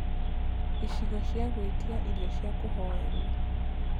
icigo cĩa gũĩtĩaĩrĩo cĩa kuoherwo